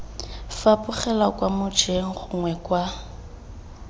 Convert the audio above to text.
fapogela kwa mojeng gongwe kwa